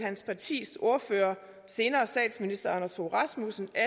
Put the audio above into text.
hans partis ordfører senere statsminister anders fogh rasmussen at